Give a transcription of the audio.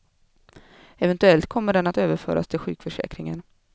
Eventuellt kommer den att överföras till sjukförsäkringen.